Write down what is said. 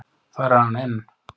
Þar er hann enn.